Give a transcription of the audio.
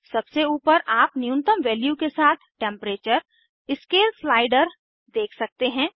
सबसे ऊपर आप न्यूनतम वैल्यू के साथ टेम्परेचर स्केल स्लाइडर देख सकते हैं